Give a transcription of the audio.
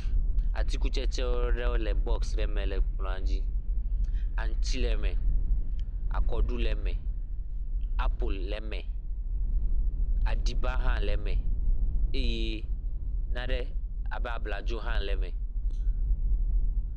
Atikutsetse ɖewo le bɔx ɖe me le kplɔa dzi. Aŋtsi le me, akɔɖu le me, apel le me, aɖiba hã le me eye nane abe abladzo hã le me